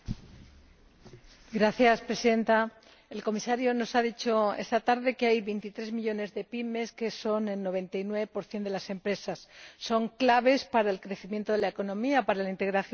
Señora Presidenta, el señor Comisario nos ha dicho esta tarde que hay 23 millones de PYME, que son el 99 de las empresas. Son clave para el crecimiento de la economía, para la integración social y laboral.